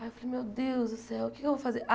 Aí eu falei, meu Deus do céu, o que é que eu vou fazer?